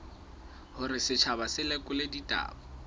hore setjhaba se lekole ditaba